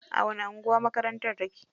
A wani anguwa makarantar take?